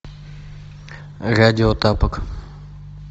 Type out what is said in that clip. радио тапок